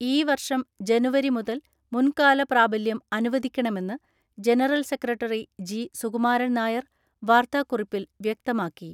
ഈ വർഷം ജനുവരി മുതൽ മുൻകാല പ്രാബല്യം അനുവദിക്കണമെന്ന് general secretary G Sukumaran Nair വാർത്താ കുറിപ്പിൽ വ്യക്തമാക്കി.